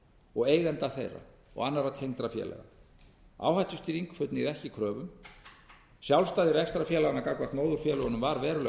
og eigenda þeirra og annarra tengdra félaga áhættustýring xxxxx ekki kröfum sjálfstæði rekstrarfélaganna gagnvart móðurfélögunum var verulega